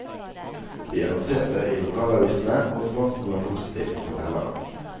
Vi annonserte i lokalavisene og responsen var positiv, forteller han.